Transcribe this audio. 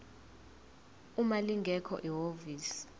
uma lingekho ihhovisi